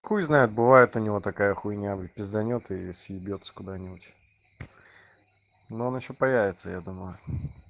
хуй знает бывает у него такая хуйня пизданёт и съебётся куда-нибудь но он ещё появится я думаю